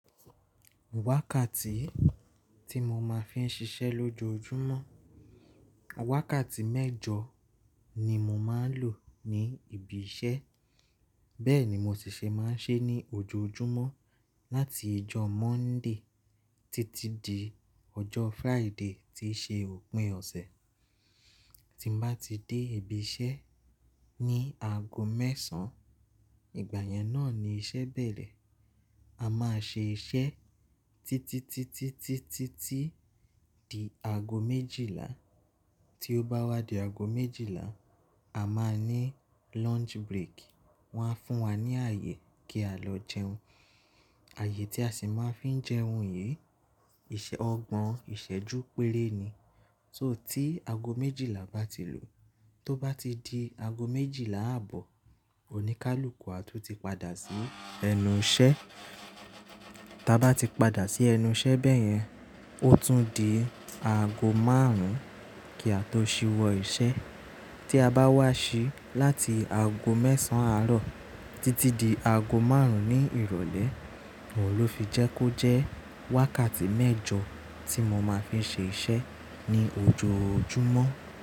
Wákàtí tí mo máa fi ń ṣiṣẹ́ lójoojúmọ́, wákàtí mẹ́jọ ni mo máa ń lò ní ibi iṣẹ́. Bẹ́ẹ̀ ni mo sì ṣe máa ń ṣe ní ojoojúmọ́ láti ọjọ́ Monday títí di ọjọ́ Friday tí ṣe òpin ọ̀sẹ̀. Tí mo bá ti dé ibi iṣẹ́ ní aago mẹ́sàn án, ìgbà yẹn náà ni iṣẹ́ bẹ̀rẹ̀. A máa ṣe iṣẹ́ títítítítítítí di aago méjìlá. Tí ó bá wá di aago méjìlá, a máa ní lunch break. Wọ́n á fún wa ní ààyè kí á lọ jẹun. Ààyè tí a sì máa fi ń jẹun yìí, ọgbọ́n ìṣẹ́jú péré ni. So tí aago méjìlá bá ti lu, tó bá ti di aago méjìlá ààbọ̀, oníkálukú á tún ti padà sí ẹnu iṣẹ́. Tí a bá ti padà sí ẹnu iṣẹ́ bẹ́yẹn, ó tún di aago márùn-ún kí a tó ṣíwọ́ iṣẹ́. Tí a bá wá ṣí láti aago mẹ́sàn án àárọ̀ títí di aago márùn-ún ní ìrọ̀lẹ́, òun ló fi jẹ́ kó jẹ́ wákàtí mẹ́jọ tí mo máa fi ń ṣe iṣẹ́ ní ojoojúmọ́.